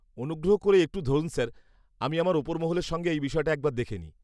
-অনুগ্রহ করে একটু ধরুন স্যার, আমি আমার ওপর মহলের সঙ্গে এই বিষয়টা একবার দেখে নিই।